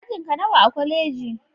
Ajinka nawa a kwaleji?